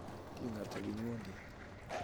Siling ata kinyondet